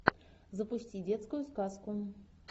запусти детскую сказку